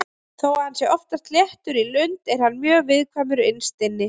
Þó að hann sé oftast léttur í lund er hann mjög viðkvæmur innst inni.